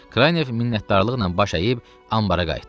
Kraynev minnətdarlıqla baş əyib anbəra qayıtdı.